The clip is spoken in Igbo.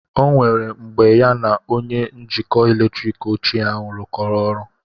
O nwere mgbe ya na onye njikọ eletrik ochie ahụ rụkọrọ ọrụ